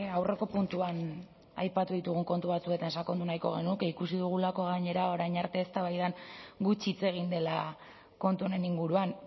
aurreko puntuan aipatu ditugun kontu batzuetan sakondu nahiko genuke ikusi dugulako gainera orain arte eztabaidan gutxi hitz egin dela kontu honen inguruan